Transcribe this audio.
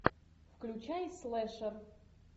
включай слешер